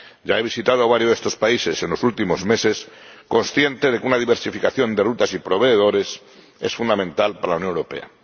Ya he visitado varios de estos países en los últimos meses, consciente de que una diversificación de rutas y proveedores es fundamental para la Unión Europea.